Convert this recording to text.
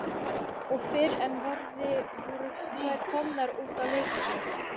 Og fyrr en varði voru þær komnar út að leika sér.